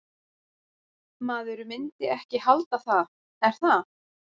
Maður myndi ekki halda það, er það?